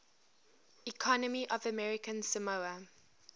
economy of american samoa